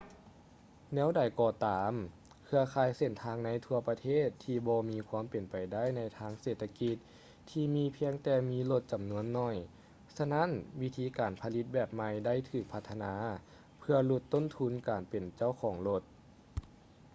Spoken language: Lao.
ແນວໃດກໍຕາມ ເຄືອຂ່າຍເສັ້ນທາງໃນທົ່ວປະເທດທີ່ບໍ່ມີຄວາມເປັນໄປໄດ້ໃນທາງເສດຖະກິດທີ່ມີພຽງແຕ່ມີລົດຈຳນວນໜ້ອຍ ສະນັ້ນວິທີການຜະລິດແບບໃໝ່ໄດ້ຖືກພັດທະນາເພື່ອຫຼຸດຕົ້ນທຶນການເປັນເຈົ້າຂອງລົດ